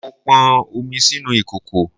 Mo pọn omi sínú ìkòkò